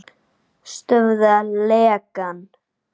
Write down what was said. Stöðva lekann.